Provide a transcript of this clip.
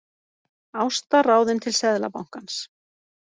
Ásta ráðin til Seðlabankans